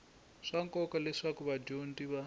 swa nkoka leswaku vadyondzi va